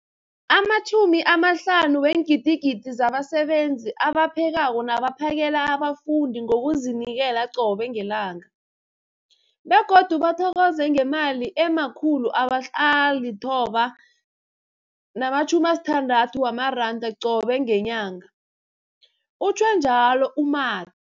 50 000 zabasebenzi abaphekako nabaphakela abafundi ngokuzinikela qobe ngelanga, begodu bathokozwa ngemali ema-960 wamaranda qobe ngenyanga, utjhwe njalo u-Mathe.